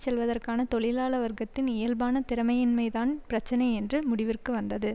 செல்வதற்கான தொழிலாள வர்க்கத்தின் இயல்பான திறமையின்மைதான் பிரச்சினை என்று முடிவிற்கு வந்தது